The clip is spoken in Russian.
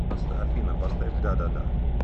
афина поставь да да да